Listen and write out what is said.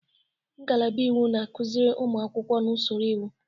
Ngalaba iwu na-akụziri ụmụ akwụkwọ na usoro iwu.